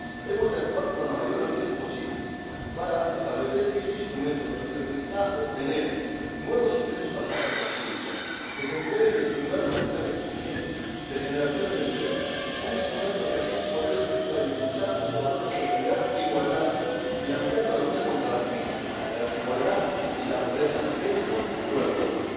Hemos de actuar con la mayor rapidez posible para establecer este instrumento que nos permitirá obtener nuevos ingresos para las arcas públicas, que debe emplearse para estimular políticas de crecimiento, de generación de empleo, y que debe asimismo servir para impulsar nuestros valores de solidaridad e igualdad, financiando la lucha contra la crisis, la desigualdad y la pobreza, dentro y fuera de Europa.